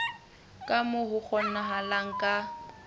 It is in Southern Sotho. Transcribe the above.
ka moo ho kgonahalang ka